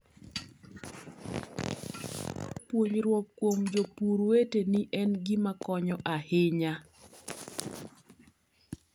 Puonjruok kuom jopur weteni en gima konyo ahinya.